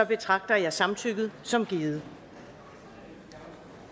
betragter jeg samtykket som givet